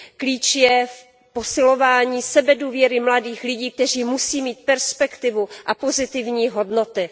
Klíč je v posilování sebedůvěry mladých lidí, kteří musí mít perspektivu a pozitivní hodnoty.